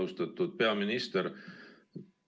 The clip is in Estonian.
Austatud peaminister!